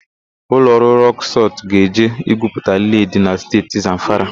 Ụlọ ọrụ Rọk Sọlt ga-eje igwuputa led dị na Steeti Zamfara.